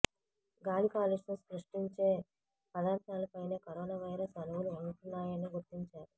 గాలి కాలుష్యం సృష్టించే పదార్థాలపైనే కరోనా వైరస్ అణువులు ఉంటున్నాయని గుర్తించారు